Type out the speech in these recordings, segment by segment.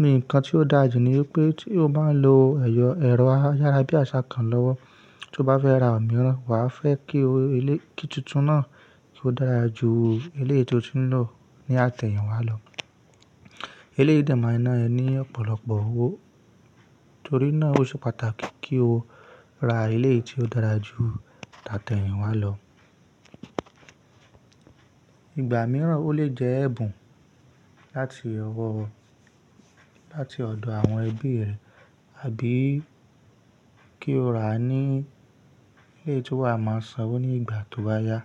Ní ǹkan tí ó dàjú ní wípé tí o bá lo ẹ̀rọ ayárabíàṣá kan lọ́wọ́, tí o bá fẹ́ ra òmíràn, wà á fẹ́ kí òwò eléyìí tí ó ti lọ dára ju eléyìí tí o ti ń lò ní àtẹ̀yìnwá lọ. Eléyìí dẹ̀ máa ná ẹni ọ̀pọ̀lọpọ̀ owó torí náà ó ṣe pàtàkì kí o ra eléyìí tí ó dára ju àtẹ̀yìnwá lọ. Igba mìíràn ó lè jẹ́ ẹ̀bùn láti láti ọ̀dọ̀ àwọn ẹbí rẹ àbí kí o rà á ní ilé tí wà á máa sanwó ní ìgbà tí ó bá yá.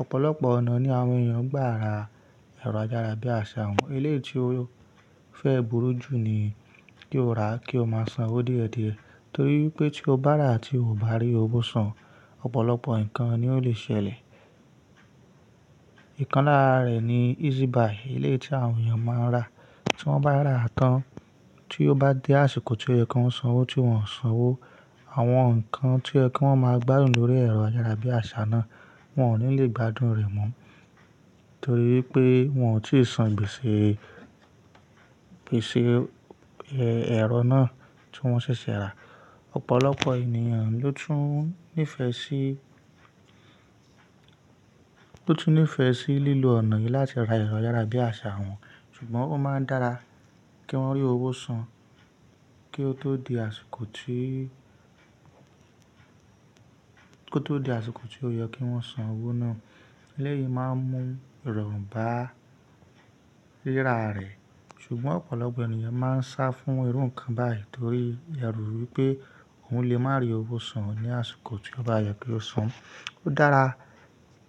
Ọ̀pọ̀lọpọ̀ ọ̀nà ni àwọn ènìyàn ń gbà ra ẹ̀rọ ayárabíàṣá wọn. Eléyìí tí ó fẹ́ burú jù ni kí o rà á kí o máa sanwó dìẹ̀dìẹ̀ torí pé tí o bá rà á tí ò bá rí owó san, ọ̀pọ̀lọpọ̀ ǹkan ni ó lè ṣẹlẹ̀. Ìkanlára rẹ̀ ni easy buy, eléyìí tí àwọn ènìyàn máa ń rà tí wọ́n bá rà án tán tí ó bá dé àsìkò tí yẹ kí wọ́n sanwó tí wọ́n ń sanwó. Àwọn ǹkan tí yẹ kí wọ́n máa gbádùn lórí ẹ̀rọ ayárabíàṣá náà wọn ò ní lè gbádùn rẹ̀ mọ́ torí pé wọn ò tíì san gbèsè ẹ̀rọ náà tí wọ́n ṣẹ̀ṣẹ̀ rà. Ọ̀pọ̀lọpọ̀ ènìyàn ló tún nífẹ̀ẹ́ sí lílò ọ̀nà yìí láti ra ẹ̀rọ ayárabíàṣá wọn ṣùgbọ́n ó máa ń dára kí wọ́n rí owó san kí ó tó di àsìkò tí ó yẹ kí wọ́n san owó náà. Eléyìí máa ń mú ìrọ̀ bà rírà rẹ̀ ṣùgbọ́n ọ̀pọ̀lọpọ̀ ènìyàn máa ń sá fún irú ǹkan báyìí torí yàá rò wípé òhun lè má rí owó san ní àsìkò tí ó bá yẹ kí ó san. Ó dára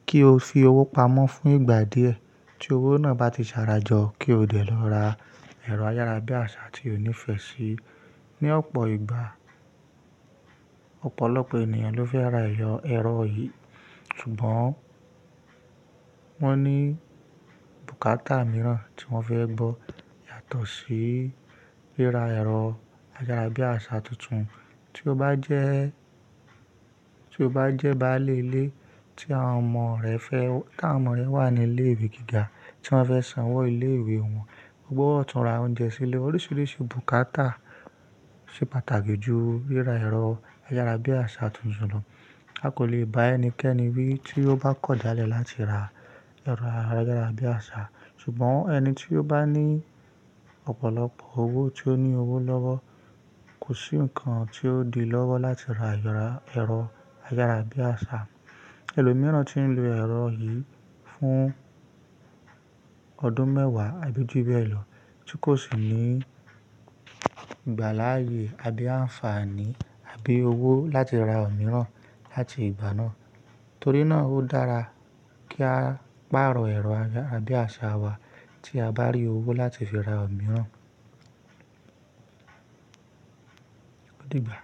kí o fi owó pamọ́ fún ìgbà díẹ̀ tí owó náà bá ti sára jọ kí o lè lọ ra ẹ̀rọ ayárabíàṣá tí o nífẹ̀ẹ́ sí. Ni ọ̀pọ̀ ìgbà, ọ̀pọ̀lọpọ̀ ènìyàn ló fẹ́ ra ẹ̀rọ yìí ṣùgbọ́n wọ́n ní bùkátà mìíràn tí wọ́n fẹ́ gbọ́ yàtọ̀ sí rírà ẹ̀rọ ayárabíàṣá tuntun. Tí o bá jẹ́ báálé ilé tí àwọn ọmọ rẹ wà ní ilé ìwé gíga tí wọ́n fẹ́ sanwó ilé ìwé wọn, gbọ́ ọ̀tún ra oúnjẹ sí ilé oríṣiríṣi bùkátà ṣe pàtàkì ju rírà ẹ̀rọ ayárabíàṣá tuntun lọ. A kò lè bá ẹnikẹ́ni wí tí ó bá kọjá lẹ́ẹ̀ láti ra ẹ̀rọ ayárabíàṣá ṣùgbọ́n ẹni tí ó bá ní ọ̀pọ̀lọpọ̀ owó, tí ó ní owó lọ́wọ́ kò sí ǹkan tí ó di lọ́wọ́ láti ra ẹ̀rọ ayárabíàṣá. Ẹlòmíràn tí ń lo ẹ̀rọ yìí fún ọdún mẹ́wàá àbí jù bẹ́ẹ̀ lọ tí kò sì ní ìgbà láàyè àbí àǹfààní àbí owó láti ra òmíràn láti ìgbà náà torí náà ó dára kí a pààrọ̀ ẹ̀rọ ayárabíàṣá wa tí a bá rí owó láti fi ra òmíràn. Ó dì gbà.